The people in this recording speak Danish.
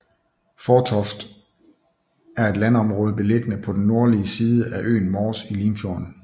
Fårtoft er et landområde beliggende på den nordlige side af øen Mors i Limfjorden